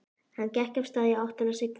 Hann gekk af stað í áttina að Signu.